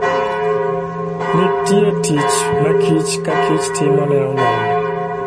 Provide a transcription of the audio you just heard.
Nitie tich ma kich ka kich timo ne oganda.